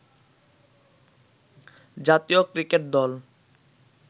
জাতীয় ক্রিকেট দল